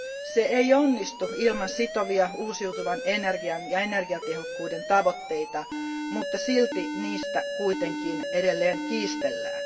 Se ei onnistu ilman sitovia uusiutuvan energian ja energiatehokkuuden tavoitteita, mutta silti niistä kuitenkin edelleen kiistellään.